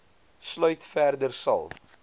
sluit verder sal